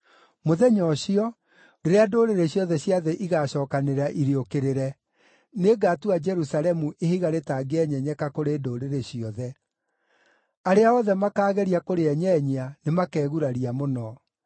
Mũthenya ũcio, rĩrĩa ndũrĩrĩ ciothe cia thĩ igaacookanĩrĩra irĩũkĩrĩre, nĩngatua Jerusalemu ihiga rĩtangĩenyenyeka kũrĩ ndũrĩrĩ ciothe. Arĩa othe makaageria kũrĩenyenyia nĩmakeguraria mũno.